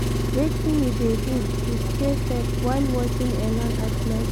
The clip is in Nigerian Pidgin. wetin you dey do to stay safe while walking alone at night?